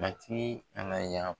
matigi an na yan.